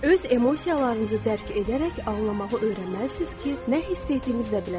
Öz emosiyalarınızı dərk edərək ağlamağı öyrənməlisiniz ki, nə hiss etdiyinizi də biləsiniz.